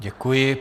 Děkuji.